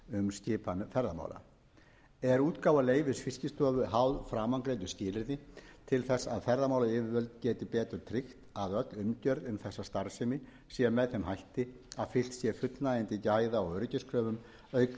skipan ferðamála er útgáfa leyfis fiskistofu háð framangreindu skilyrði til þess að ferðamálayfirvöld geti betur tryggt að öll umgjörð um þessa starfsemi sé með þeim hætti að fylgt sé fullnægjandi gæða og öryggiskröfum auk